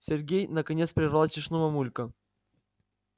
сергей наконец прервал тишину мамулька